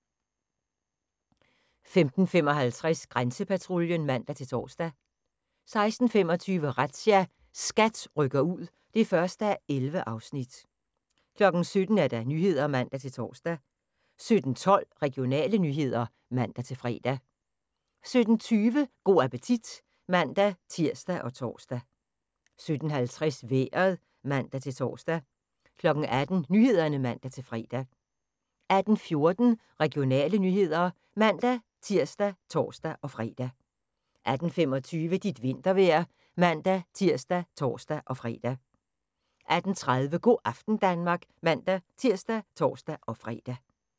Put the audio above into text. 15:55: Grænsepatruljen (man-tor) 16:25: Razzia – SKAT rykker ud (1:11) 17:00: Nyhederne (man-tor) 17:12: Regionale nyheder (man-fre) 17:20: Go' appetit (man-tir og tor) 17:50: Vejret (man-tor) 18:00: Nyhederne (man-fre) 18:14: Regionale nyheder (man-tir og tor-fre) 18:25: Dit vintervejr (man-tir og tor-fre) 18:30: Go' aften Danmark (man-tir og tor-fre)